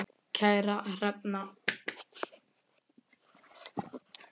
Kæra Hrefna